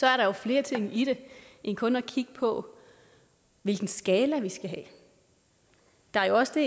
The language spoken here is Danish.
er flere ting i det end kun at kigge på hvilken skala vi skal have der er jo også